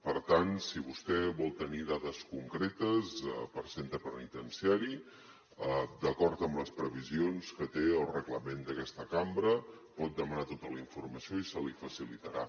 per tant si vostè vol tenir dades concretes per a centre penitenciari d’acord amb les previsions que té el reglament d’aquesta cambra pot demanar tota la informació i se li facilitarà